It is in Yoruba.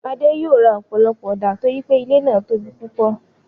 Adé yòó ra ọ̀pọ̀lọpọ̀ ọ̀dà torípé ilé náà tóbi púpọ̀.